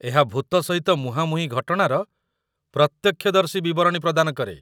ଏହା ଭୂତ ସହିତ ମୁହାଁମୁହିଁ ଘଟଣାର ପ୍ରତ୍ୟକ୍ଷଦର୍ଶୀ ବିବରଣୀ ପ୍ରଦାନ କରେ।